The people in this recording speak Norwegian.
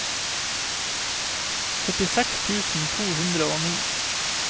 førtiseks tusen to hundre og ni